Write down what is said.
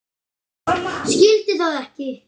Skildi það ekki.